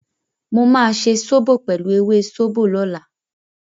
Mo máa ṣe sóbò pẹ̀lú ewé sóbò lọ́la.